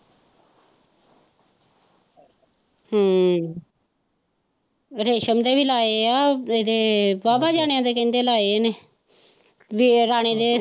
ਹਮ ਰੇਸ਼ਮ ਦੇ ਵੀ ਲਾਏ ਆ, ਇਦੇ ਵਾ ਵਾ ਜਣਿਆ ਦੇ ਕਹਿੰਦੇ ਲਾਏ ਇੰਨੇ ਵੇ ਰਾਣੇ ਦੇ।